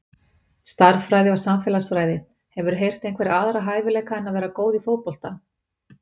Stærðfræði og samfélagsfræði Hefurðu einhverja aðra hæfileika en að vera góð í fótbolta?